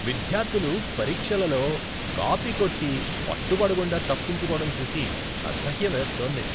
విద్యార్థులు పరీక్షలలో కాపీ కొట్టి పట్టుబడకుండా తప్పించుకోడం చూసి అసహ్యం వేస్తోంది.